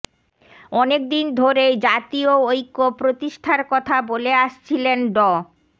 অনেকদিন ধরেই জাতীয় ঐক্য প্রতিষ্ঠার কথা বলে আসছিলেন ড